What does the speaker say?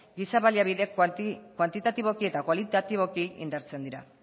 giza baliabide kuantitatiboki eta kualitatiboki indartzen dira